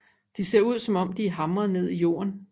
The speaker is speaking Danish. De ser ud som om de er hamret ned i jorden